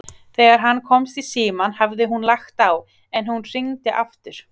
Þegar hann komst í símann hafði hún lagt á, en hún hringdi aftur.